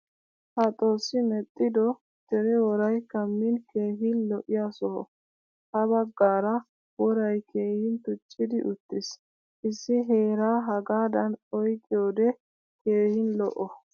Ha xoossi medhdhido dere woray kamin keehin lo'iya soho. Ha baggaara woray keehin tuccidi uttiiis. Issi heeraa hagadan oyqiyode keehin lo'o.